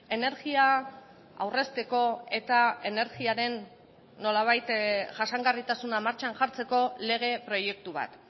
energia aurrezteko eta energiaren nolabait jasangarritasuna martxan jartzeko lege proiektu bat